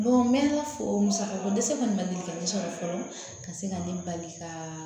n mɛ ala fo musaka ko dɛsɛ kɔni ma deli ka ne sɔrɔ fɔlɔ ka se ka ne bali ka